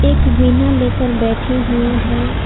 एक वीणा लेकर बैठी हुई हैं।